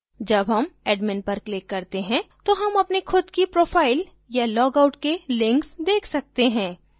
जब हम admin पर click करते हैं तो हम अपनी खुद की profile या log out के links देख सकते हैं